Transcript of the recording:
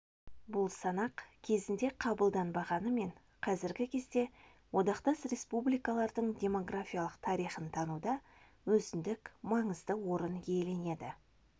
бұл санақ кезінде қабылданбағанымен қазіргі кезде одақтас республикалардың демографиялық тарихын тануда өзіндік маңызды орын иеленеді